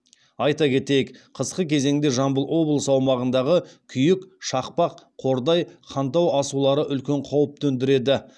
айта кетейік қысқы кезеңде жамбыл облыс аумағындағы күйік шақпақ қордай хантау асулары үлкен қауіп төндіреді